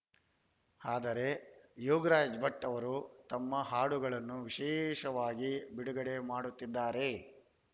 ಆದರೆ ಯೋಗರಾಜ್‌ ಭಟ್‌ ಅವರು ತಮ್ಮ ಹಾಡುಗಳನ್ನು ವಿಶೇಷವಾಗಿ ಬಿಡುಗಡೆ ಮಾಡುತ್ತಿದ್ದಾರೆ